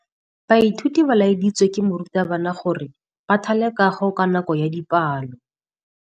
Baithuti ba laeditswe ke morutabana gore ba thale kagô ka nako ya dipalô.